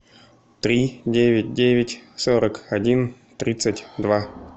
три девять девять сорок один тридцать два